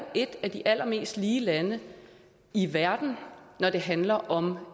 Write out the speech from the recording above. et af de allermest lige lande i verden når det handler om